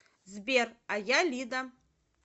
сбер а я лида